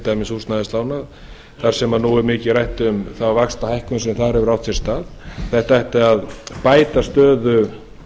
dæmis til húsnæðislána þar sem nú er mikið rætt um þá vaxtahækkun sem þar hefur átt sér stað þetta ætti að bæta stöðu